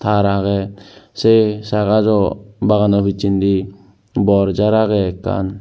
taar agey sei saa gajo bagano pijjendi bor jaar agey ekkan.